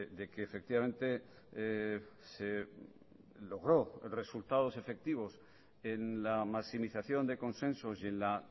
de que efectivamente se logró resultados efectivos en la maximización de consensos y en la